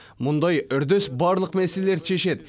мұндай үрдіс барлық мәселелерді шешеді